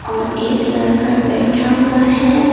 और एक लड़का बैठा हुआ है।